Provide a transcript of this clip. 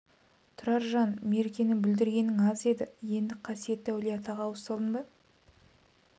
тұраржан меркені бүлдіргенің аз еді енді қасиетті әулие-атаға ауыз салдың ба